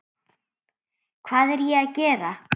Hvað er ég að gera?